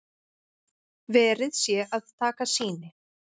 Verið sé að taka sýni